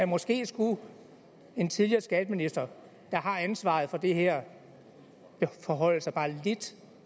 måske skulle en tidligere skatteminister der har ansvaret for det her forholde sig bare lidt